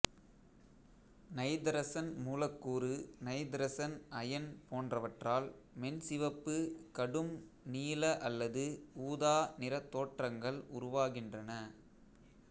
நைதரசன் மூலக்கூறு நைதரசன் அயன் போன்றவற்றால் மென்சிவப்பு கடும்நீல அல்லது ஊதா நிறத் தோற்றங்கள் உருவாகின்றன